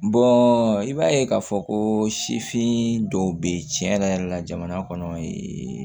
i b'a ye k'a fɔ ko sifin dɔw bɛ ye tiɲɛ yɛrɛ yɛrɛ la jamana kɔnɔ ye